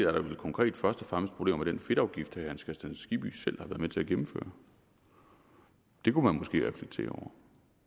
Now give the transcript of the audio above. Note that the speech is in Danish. er der vel konkret først og fremmest problemer med den fedtafgift herre hans kristian skibby selv har været med til at indføre det kunne man måske reflektere